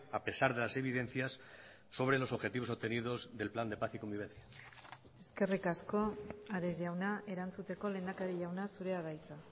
a pesar de las evidencias sobre los objetivos obtenidos del plan de paz y convivencia eskerrik asko ares jauna erantzuteko lehendakari jauna zurea da hitza